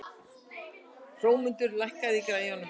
Hrómundur, lækkaðu í græjunum.